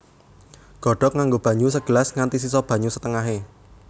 Godhog nganggo banyu segelas nganti sisa banyu setengahé